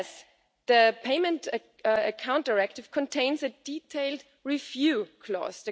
Nevertheless, the Payment Account Directive contains a detailed review clause.